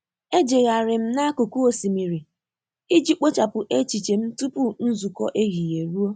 Ejegharị m n'akụkụ osimiri iji kpochapụ echiche m tupu nzukọ ehihie eruo.